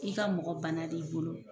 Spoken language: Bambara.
I ka mɔgɔ bana d'i bolo